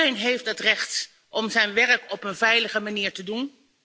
Want iedereen heeft het recht om zijn werk op een veilige manier te doen.